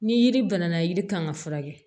Ni yiri banana yiri kan ka furakɛ